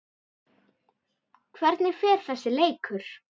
Hvernig fer þessi leikur?